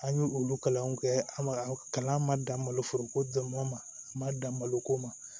An ye olu kalanw kɛ an ma kalan ma dan malo foroko dɔn ma dan malo ko ma